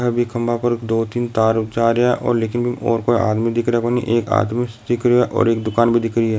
बि खंबा पर दो-तीन तार जा रहा है कोई भी आदमी दिख रा कोनी एक आदमी दिख रहा है और एक दुकान भी दिख रही है।